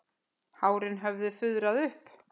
Hárin höfðu fuðrað upp.